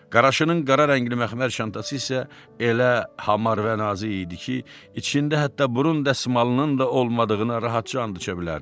Qaraşının qara rəngli məxmər çantası isə elə hamar və nazik idi ki, içində hətta burun dəsmalının da olmadığını rahatca and içə bilərdin.